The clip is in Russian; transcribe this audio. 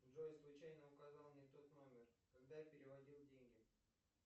джой случайно указал не тот номер когда переводил деньги